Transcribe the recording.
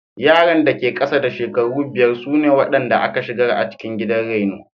Yaran da ke ƙasa da shekaru biyar sune waɗanda aka shigar a cikin gidan raino.